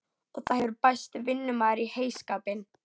Og það hefur bæst vinnumaður í heyskapinn.